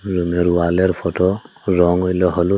রুমের ওয়ালের ফটো রং হইল হলুদ।